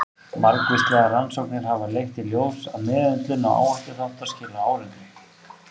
Margvíslegar rannsóknir hafa leitt í ljós að meðhöndlun áhættuþátta skilar árangri.